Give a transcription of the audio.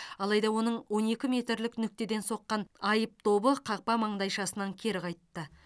алайда оның он екі метрлік нүктеден соққан айып добы қақпа маңдайшасынан кері қайтты